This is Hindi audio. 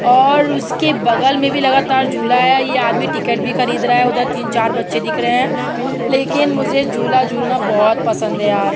और उसके बगल में भी लगातार झूला है। यह आदमी टिकट भी खरीद रहा है। उधर तीन चार बच्चे दिख रहे हैं। लेकिन मुझे झूला झूलना बहोत पसंद है यार।